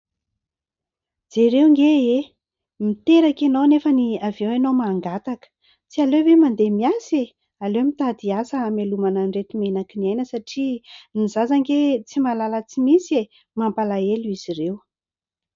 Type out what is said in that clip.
Jereo anie e! Miteraka ianao nefa avy eo ianao mangataka, tsy aleo ve mandeha miasa e ! Aleo mitady asa hamelomana an'ireto menaky ny aina satria ny zaza anie tsy mahalala tsy misy e ! Mampalahelo izy ireo.